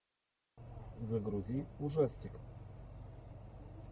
загрузи ужастик